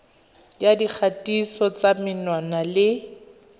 ya dikgatiso tsa menwana le